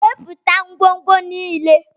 Wepụta ngwongwo niile!